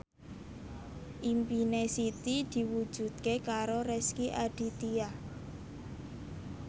impine Siti diwujudke karo Rezky Aditya